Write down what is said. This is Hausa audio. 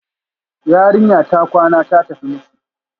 Yarinya ta kwana, ta tafi miki